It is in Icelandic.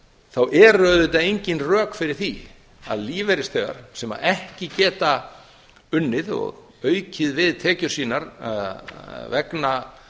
þá eru auðvitað engin rök fyrir því að lífeyrisþegar sem ekki geta unnið og aukið við tekjur sína vegna